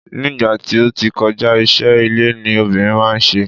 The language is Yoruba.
ní ìgbà tí o ti kọja, iṣẹ ile ni obìnrin ma n se